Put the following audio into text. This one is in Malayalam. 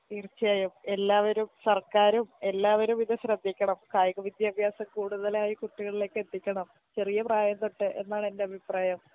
തീർച്ചയായും എല്ലാവരും സർക്കാരും എല്ലാവരുമിത് ശ്രെദ്ധിക്കണം കായിക വിദ്യാഭ്യാസം കൂടുതലായി കുട്ടികൾലേക്കെത്തിക്കണം ചെറിയ പ്രായം തൊട്ട് എന്നാണെന്റെ അഭിപ്രായം